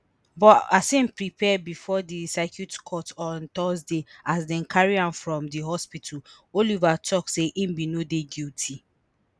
but as im appear bifor di circuit court on thursday as dem carry am from di hospital oliver tok say im no dey guilty